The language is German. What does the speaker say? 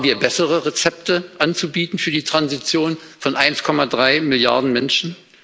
Haben wir bessere Rezepte anzubieten für die Transition von 1,3 Milliarden Menschen?